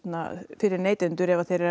fyrir neytendur ef þeir eru að